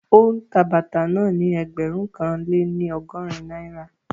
Ó ń ta bàtà náà ni ẹgbẹ̀rún kan lé ní ọgọ́rin náírà